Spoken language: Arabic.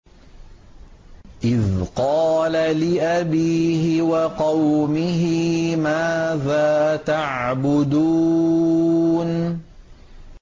إِذْ قَالَ لِأَبِيهِ وَقَوْمِهِ مَاذَا تَعْبُدُونَ